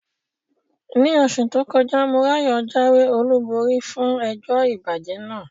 Ní oṣù tó kọjá, Morayo jáwé olúborí fún ẹjọ́ ìbàjẹ́ náà.